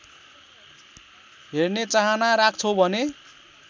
हेर्ने चाहना राख्छौ भने